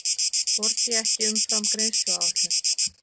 Borgi ekki umfram greiðsluáætlun